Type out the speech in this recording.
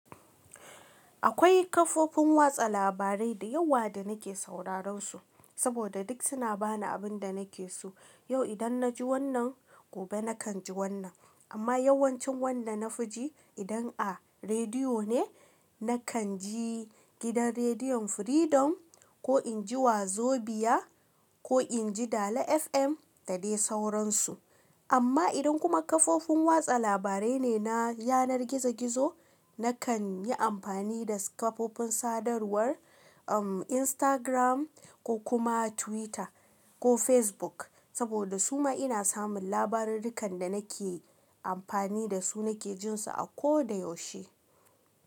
Akwai kafofin watsa labarai da yawa da nake sauraron su saboda duk suna bani abin da nake so. Yau idan na ji wannan, gobe na kan ji wannan. Amma yawancin wanda na fi ji idan a rediyo ne, na kan ji gidan rediyon Freedom ko in ji Wazobia ko in ji Dale FM da dai sauransu. Amma idan kuma kafofin watsa labarai ne na yanar gizo-gizo, na kan yi amfani da kafofin sadarwar, um Instagram ko kuma Twitter ko Facebook saboda su ma ina samun labarai dukan da nake amfani da su nake jin su a ko da yaushe.